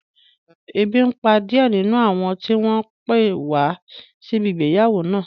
Ebi n pa díẹ̀ nínú àwọn tí wọ́n pé wá síbi ìgbéyàwó náà